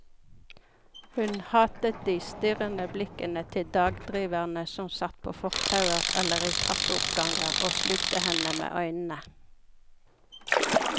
Hun hatet de strirrende blikkende til dagdriverne som satt på fortauer eller i trappeoppganger og slukte henne med øynene.